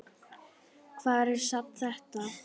Hvar er safn þetta?